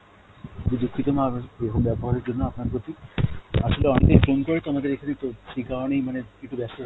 দুক্ষিত mam, এরকম বেবহারের জন্য আপনার প্রতি আসলে অনেকএই phone করে তো আমাদের এখানে তো সেই কারণেই মানে একটু বেস্ত